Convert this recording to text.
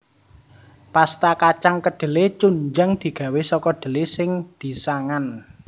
Pasta kacang kedhele chunjang digawé saka dhele sing disangan